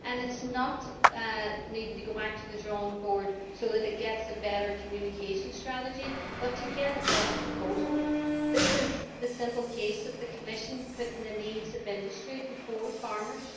It does not need to go back to the drawing board in order to get a better communication strategy but to get a better proposal. This is a simple case of the Commission putting the needs of industry before farmers.